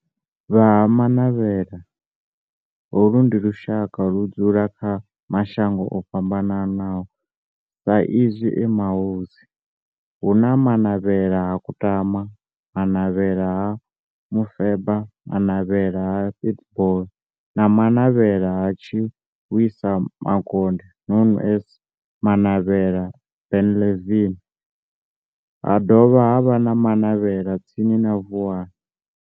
Vha Ha-Manavhela, holu ndi lushaka ludzula kha mashango ofhambanaho sa izwi e mahosi, hu na Manavhela ha Kutama, Manavhela ha Mufeba, Manavhela ha Pietboi na Manavhela ha Tshiwisa Mukonde known as Manavhela Benlavin, ha dovha havha na Manavhela tsini na Vuwani.